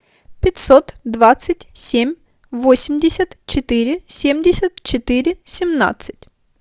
пятьсот двадцать семь восемьдесят четыре семьдесят четыре семнадцать